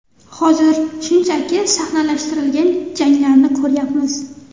Hozir shunchaki sahnalashtirilgan janglarni ko‘ryapmiz.